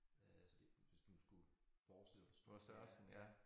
Øh så det hvis du nu skulle forestille dig hvor stort det er